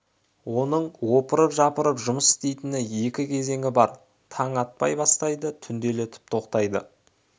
оның опырып-жапырып жұмыс істейтін екі кезеңі бар таң атпай бастайды түнделетіп тоқтайды